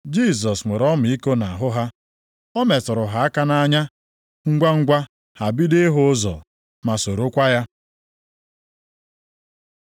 Jisọs nwere ọmịiko nʼahụ ha. O metụrụ ha aka nʼanya. Ngwangwa ha bidoro ịhụ ụzọ, ma sorokwa ya.